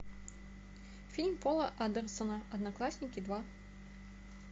фильм пола андерсона одноклассники два